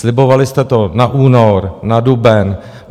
Slibovali jste to na únor, na duben.